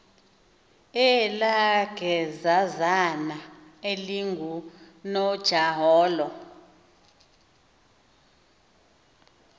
elaa gezazana lingunojaholo